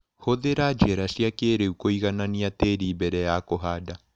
Hũthĩra njĩra cia kĩrĩu kũiganania tĩri mbere ya kũhanda.